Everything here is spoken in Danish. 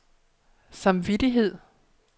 samvittighed